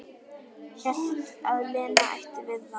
Hélt að Lena ætti við það.